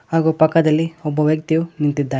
ಹಾಗು ಪಕ್ಕದಲ್ಲಿ ಒಬ್ಬ ವ್ಯಕ್ತಿಯು ನಿಂತಿದ್ದಾನೆ.